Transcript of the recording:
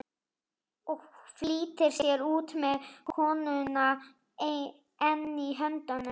Og flýtir sér út með könnuna enn í höndunum.